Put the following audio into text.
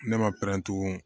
Ne ma pɛrɛn tugun